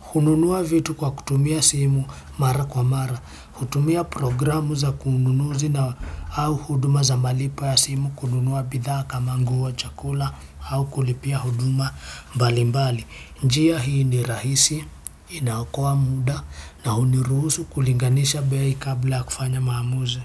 hununua vitu kwa kutumia simu mara kwa mara. Kutumia programu za kununuzi na au huduma za malipo ya simu, kununua bidhaa kama nguo, chakula, au kulipia huduma mbali mbali. Njia hii ni rahisi inaokoa muda na huniruhusu kulinganisha bei kabla ya kufanya maamuzi.